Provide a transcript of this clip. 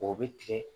O bɛ tigɛ